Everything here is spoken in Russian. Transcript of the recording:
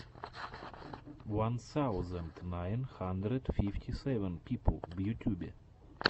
ван саузенд найн хандрэд фифти сэвэн пипл в ютьюбе